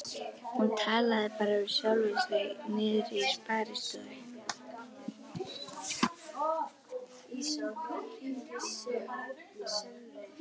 Hún talaði bara við sjálfa sig niðri í sparistofu.